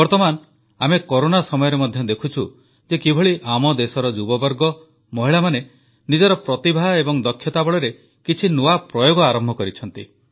ବର୍ତ୍ତମାନ ଆମେ କରୋନା ସମୟରେ ମଧ୍ୟ ଦେଖୁଛୁ ଯେ କିଭଳି ଆମ ଦେଶର ଯୁବବର୍ଗ ମହିଳାମାନେ ନିଜର ପ୍ରତିଭା ଏବଂ ଦକ୍ଷତା ବଳରେ କିଛି ନୂଆ ପ୍ରୟୋଗ ଆରମ୍ଭ କରିଛନ୍ତି